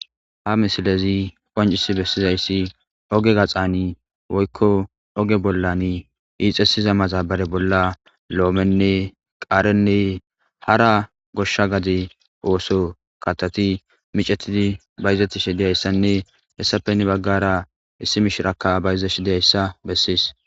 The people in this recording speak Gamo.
ha misilezi qoncisi bessizayssi oge gaxani woykko oge bollan iixesiza maxabare bolla lo7omenne qaarenne hara goshsha gade ooso katoti micetidi bayzetti shidiyayssanne hessapeni baggara issi mishiraka bayza shidiyayssa bessies